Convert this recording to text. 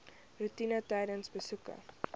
roetine tydens besoeke